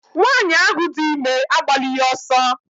Nwanyị ahụ dị ime agbalighi ọsọ